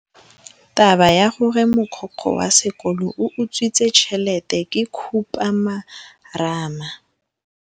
Taba ya gore mogokgo wa sekolo o utswitse tšhelete ke khupamarama.